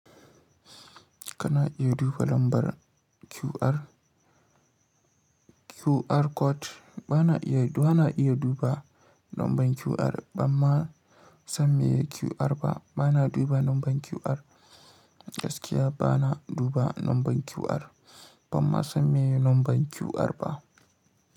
Kana iya duba lambar QR, QR code bana iya, bana iya duba lambar QR, amma sam me QR ba, bana duba lambar QR. Gaskiya bana duba lambar QR, amma sam me lambar QR ba.